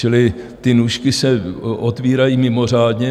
Čili ty nůžky se otvírají mimořádně.